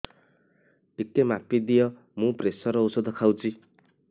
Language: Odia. ଟିକେ ମାପିଦିଅ ମୁଁ ପ୍ରେସର ଔଷଧ ଖାଉଚି